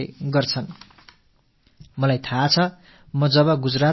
இப்படிப்பட்ட பல முயற்சிகளை பலர் மேற்கொண்டு வருகிறார்கள்